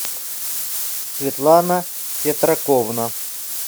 светлана сетраковна